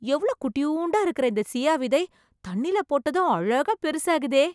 எவ்ளோ குட்டியூண்டா இருக்கற இந்த சியா விதை, தண்ணில போட்டதும் அழகா பெருசாகுதே...